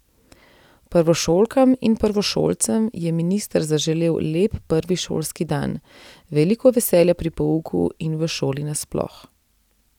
Prvošolkam in prvošolcem je minister zaželel lep prvi šolski dan, veliko veselja pri pouku in v šoli nasploh.